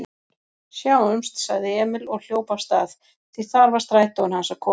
Sjáumst, sagði Emil og hljóp af stað, því þar var strætóinn hans að koma.